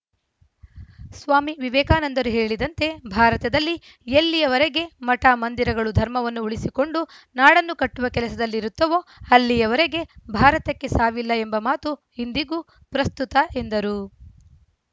ಸ್ವಾಮಿ ವಿವೇಕಾನಂದರು ಹೇಳಿದಂತೆ ಭಾರತದಲ್ಲಿ ಎಲ್ಲಿಯವರೆಗೆ ಮಠ ಮಂದಿರಗಳು ಧರ್ಮವನ್ನು ಉಳಿಸಿಕೊಂಡು ನಾಡನ್ನು ಕಟ್ಟುವ ಕೆಲಸದಲ್ಲಿರುತ್ತವೋ ಅಲ್ಲಿಯವರೆಗೆ ಭಾರತಕ್ಕೆ ಸಾವಿಲ್ಲ ಎಂಬ ಮಾತು ಇಂದಿಗೂ ಪ್ರಸ್ತುತ ಎಂದರು